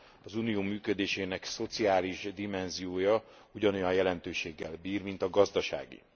Az Unió működésének szociális dimenziója ugyanolyan jelentőséggel bír, mint a gazdaságé.